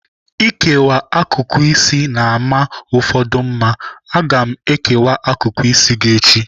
Ịkewa akụkụ isi na-ama ụfọdụ mma. Aga m ekewa akụkụ isi gị echi.